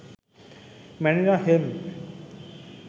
Manila hemp